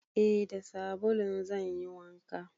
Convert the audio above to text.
Eh da sabulun zan yi wanka.